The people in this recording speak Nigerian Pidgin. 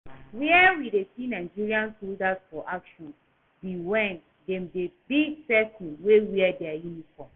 Where we dey see Nigerian soldier for action be when dem dey beat person wey wear dia uniform